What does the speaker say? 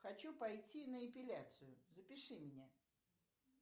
хочу пойти на эпиляцию запиши меня